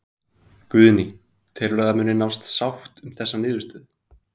Guðný: Telurðu að það muni nást sátt um þessa niðurstöðu?